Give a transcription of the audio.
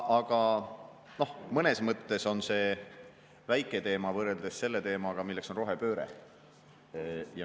Aga noh, mõnes mõttes on see väike teema võrreldes selle teemaga, mis on rohepööre.